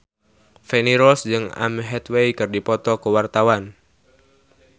Feni Rose jeung Anne Hathaway keur dipoto ku wartawan